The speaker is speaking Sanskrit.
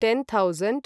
ten thousand